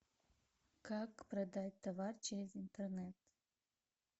как продать товар через интернет